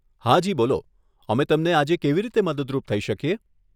હાજી, બોલો અમે તમને આજે કેવી રીતે મદદરૂપ થઈ શકીએ?